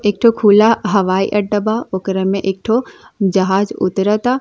एकठो खुला हवाई अड्डा बा ओकरा में एकठो जाहज उतरता।